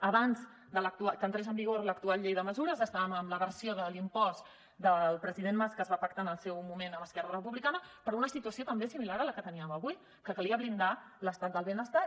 abans que entrés en vigor l’actual llei de mesures estàvem amb la versió de l’impost del president mas que es va pactar en el seu moment amb esquerra republicana per una situació també similar a la que teníem avui que calia blindar l’estat del benestar